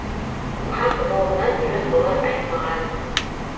хақ жолынан жөн болар айнымаған